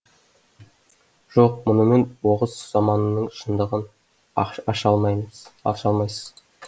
жоқ мұнымен оғыз заманының шындығын аша аша алмаймыз аша алмайсыз